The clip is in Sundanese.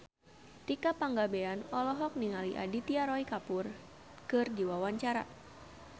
Tika Pangabean olohok ningali Aditya Roy Kapoor keur diwawancara